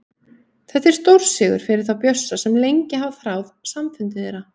Þetta er stórsigur fyrir þá Bjössa sem lengi hafa þráð samfundi þeirra.